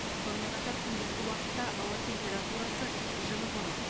сонымен қатар күндізгі уақытта ауа температурасы жылы болады